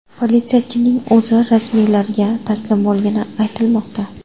Politsiyachining o‘zi rasmiylarga taslim bo‘lgani aytilmoqda.